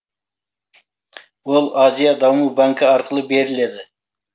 ол азия даму банкі арқылы беріледі